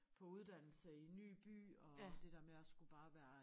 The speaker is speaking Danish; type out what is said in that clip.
På uddannelse i ny by og det der med at skulle bare være